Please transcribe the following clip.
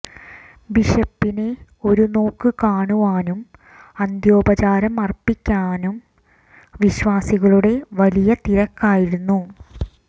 ബിഷപ്പിനെ ഒരു നോക്കു കാണുവാനും അന്ത്യോപചാരം അര്പ്പിക്കുവാനും വിശ്വാസികളുടെ വലിയ തിരക്കായിരുന്നു